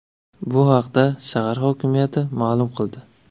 Bu haqda shahar hokimiyati ma’lum qildi .